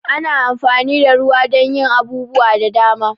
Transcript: Ana amfani da ruwa don yin abubuwa da dama.